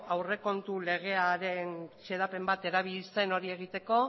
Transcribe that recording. aurrekontu legearen xedapen bat erabili zen hori egiteko